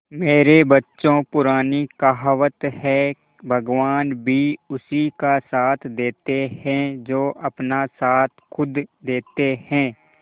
मेरे बच्चों पुरानी कहावत है भगवान भी उसी का साथ देते है जो अपना साथ खुद देते है